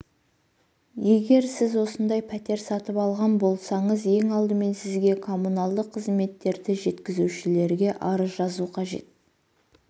егер сіз осындай пәтер сатып алған болсаңыз ең алдымен сізге коммуналдық қызметтерді жеткізушілерге арыз жазу қажет